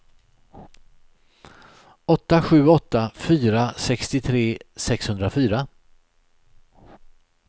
åtta sju åtta fyra sextiotre sexhundrafyra